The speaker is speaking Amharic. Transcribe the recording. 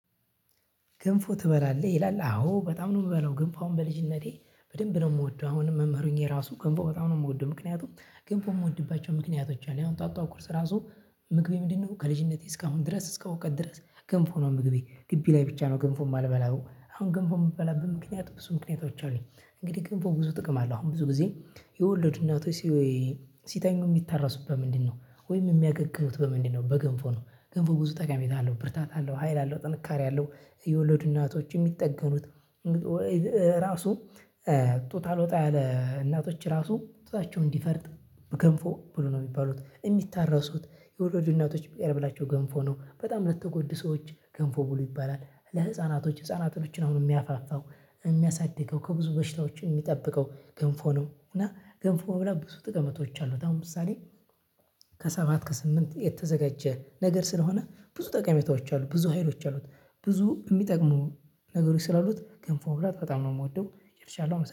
ገንፎ ትበላለህ ይላል አዎ በጣም ነው። የምበለው ገንፎ አሁን በልጅነቴ በደንብ ነው የምወደው አሁንም መምህሩኝ የራሱ ገንፎ በጣም ነው የምወደው። ምክንያቱም ገንፎ የምወድባቸው ምክንያቶች አሉ ያው ጠዋትጠዋት እራሱ ምግቤ ምንድነው? ከልጅነቴ እስካሁን ድረስ እስከ እውቀት ድረስ ገንፎ ነው። ምግቤ ግቢ ላይ ብቻ ነው ገንፎ የማልበላው አሁን ግንፎ የምበላበት ምክንያት ብዙ ምክንያቶች አሉኝ። እንግዲህ ገንፎ ብዙ ጥቅም አለው አሁን ብዙ ጊዜ የወለዱ እናቶች ሲተኙ የሚታረሱበት ምንድነው? ወይም የሚያገግሙት በምንድነው? በገንፎ ነው ገንፎ ብዙ ጠቃሚ ቤት አለው ብርታት አለው ሀይል አለው ጥንካሬ አለው። የወለዱ እናቶች የሚጠገኑት። ራሱ ጡት አልወጣ ያለ እናቶች ራሱ ጡታቸውን እንዲፈርጥ ገንፎ ብሉ ነው የሚባሉት የሚታረሱት የወለዱ እናቶች የሚያበላቸው ገንፎ ነው በጣም ለተጎዱ ሰዎች ገንፎ ብሎ ይባላል። ለህፃናቶች ህፃናቶችን አሁን የሚያፋፋው የሚያሳድገው ከብዙ በሽታዎች የሚጠብቀው ገንፎ ነው። እና ገንፎ ብላ ብዙ ጥቅመቶች አሉ። በጣም ምሳሌ ከሰባት ከስምንት የተዘጋጀ ነገር ስለሆነ ብዙ ጠቀሜታዎች አሉ ብዙ ሀይሎች አሉት። ብዙ የሚጠቅሙ ነገሮች ስላሉት ገንፎ ብላት በጣም ነው የምወደው። ጨርልሻለሁ